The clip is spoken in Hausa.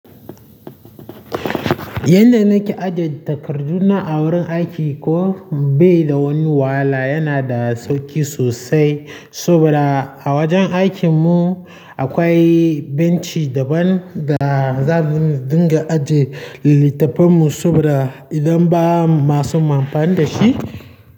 Yanda nake ajiye takarduna a wurin aiki ko bai da woni wahala, yana da sauki sosai. Saboda a wajen aikin mu akwai benci daban da za mu dinga aje littattafan mu saboda idan ba masu amfani dashi.